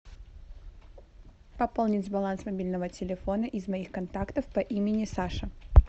пополнить баланс мобильного телефона из моих контактов по имени саша